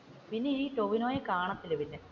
പിന്നെ ഈ ടോവിനോയെ കാണത്തില്ല പിന്നെ,